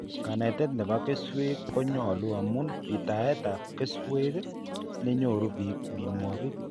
Kanetet nebo keswek konyolu amun pchetaet ab keswek nenyoru bik minwogik